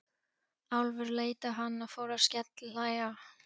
Álfur leit á hann og fór að skellihlæja.